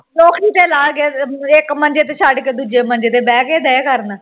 ਲੋਕੀਂ ਤੇ ਲਾਹ ਕੇ ਇੱਕ ਮੰਜੇ ਤੇ ਛੱਡ ਕੇ ਦੂਜੇ ਮੰਜੇ ਤੇ ਬੈਠ ਕੇ ਡਾਈ ਕਰਨ